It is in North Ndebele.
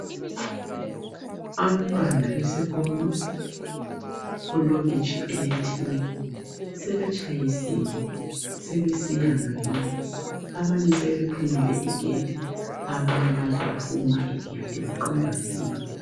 Abantwana besikolo kulokitshi elithile ,sebetshayisile sebesiya ngakibo. Abanye sebephumile igedi, abanye bazophuma igedi beqonda ngakibo.